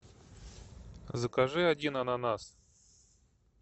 закажи один ананас